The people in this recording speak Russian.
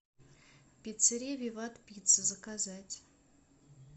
пиццерия виват пицца заказать